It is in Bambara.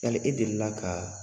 Yali e deli la ka